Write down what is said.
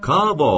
Kavo!